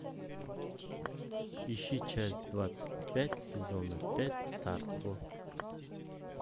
ищи часть двадцать пять сезона пять царство